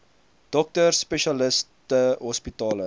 dokters spesialiste hospitale